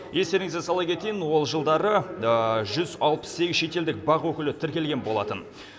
естеріңізге сала кетейін ол жылдары жүз алпыс сегіз шетелдік бақ өкілі тіркелген болатын